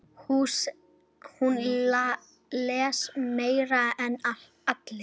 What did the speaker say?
Hún les meira en allir.